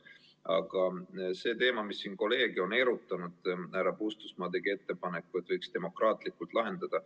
Aga see teema, mis siin kolleege on erutanud ‒ härra Puustusmaa tegi ettepaneku, et võiks selle demokraatlikult lahendada.